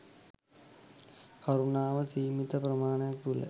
කරුණාව සීමිත පරිමාණයක් තුළ